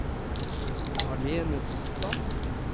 Malene Totland